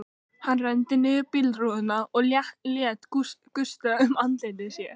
Hann renndi niður bílrúðunni og lét gusta um andlit sér.